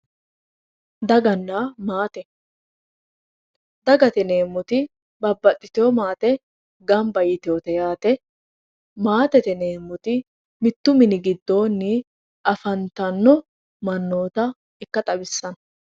daganna maate dagate yineemmoti babbaxiteewo maate ganba yiteewote yaate maatete yineemmoti mittu mini gido afantanno mannoota ikka xawissanno